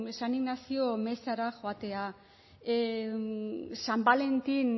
san inazio mezara joatea san balentin